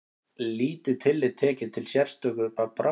Lítið tillit tekið til sérstöðu fatlaðra